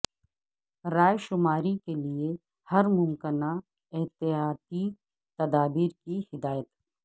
رائے شماری کیلئے ہر ممکنہ احتیاطی تدابیر کی ہدایت